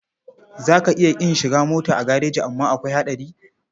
Za ka iya ƙin shiga mota a gareji amma akwai haɗari.